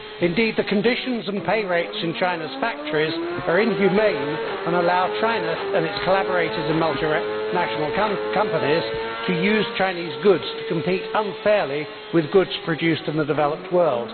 Indeed, the conditions and pay rates in China's factories are inhumane and allow China and its collaborators and multinational companies to use Chinese goods to compete unfairly with goods produced in the developed world.